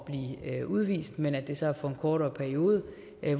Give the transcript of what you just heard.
blive udvist men at det så er for en kortere periode